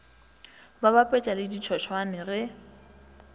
ba bapetša le ditšhošane ge